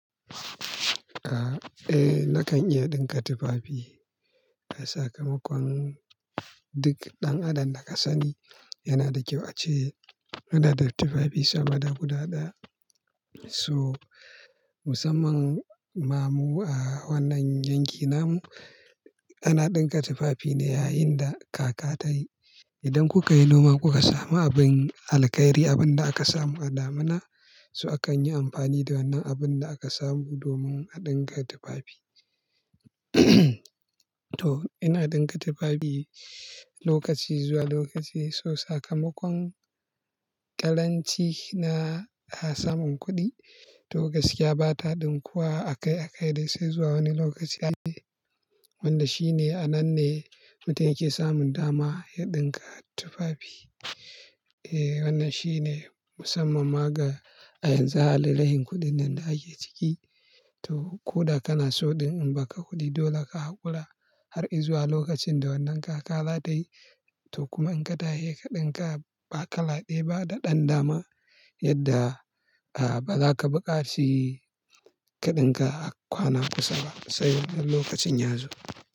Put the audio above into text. Eh, nakan iya ɗinka tufafi. Sakamakon duk ɗan adam da ka sani yana da kyau a ce, yana da tufafi sama da guda ɗaya. So, musamman ma mu a wannan yankin nan, ana ɗinka tufafi ne yayin da kaka ta yi. Idan kuka yi noma, kuka samu abin alkairi, abin da aka samu a damina, so akan yi amfani da wannan abin da aka samu domin a ɗinka tufafi. To, ina ɗinka tufafi lokaci zuwa lokaci. So sakamakon taranci na samun kuɗi. To gaskiya ba ta ɗinkuwa a kai a kai dai sai zuwa wani lokaci a wanda shine a nan ne mutum yake samun dama ya ɗinka tufafi. Eh, wannan shi ne musammama ga a yanzu a halin rashin kuɗin nan da ake ciki. To, ko da kana so ɗin in ba ka kuɗi dole ka hakura har izuwa lokacin da wannan kaka za ta wuce. To kuma in ka tashi ka ɗinka ba kala ɗaya ba da ɗan dama, yadda ba za ka buƙaci ka ɗinka a kwana kusa ba sai wannan lokacin ya zo.